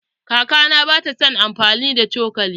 Kakana ba ta san amfani da cokali.